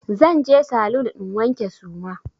Zan je saloon in wanke suma.